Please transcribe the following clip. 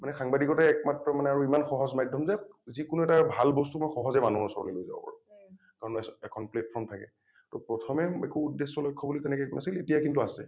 মানে সাংবাদিকতা ই একমাত্ৰ মানে আৰু ইমান সহজ মাধ্যম যে যিকোনো এটা ভাল বস্তু মই সহজে মানুহৰ ওচৰত লৈ যাব পাৰো । কাৰণ এ এখন platform থাকে । টো প্ৰথমে একো উদ্দেশ্যে লক্ষ্য বুলি তেনেকৈ একো নাছিল এতিয়া কিন্তু আছে ।